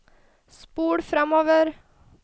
spol framover